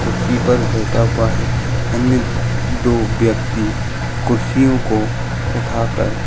कुर्सी पर बैठा हुआ है। अन्य दो व्यक्ति कुर्सियों को उठा कर --